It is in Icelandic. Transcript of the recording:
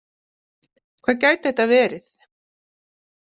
Hvað gæti þetta verið?